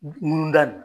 Ŋunu da n